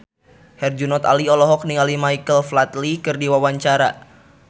Herjunot Ali olohok ningali Michael Flatley keur diwawancara